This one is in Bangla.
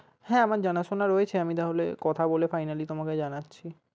হ্যাঁ আমার জানাশোনা রয়েছে তাহলে কথা বলে finally তোমাকে জানাচ্ছি।